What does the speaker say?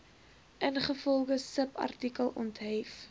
ingevolge subartikel onthef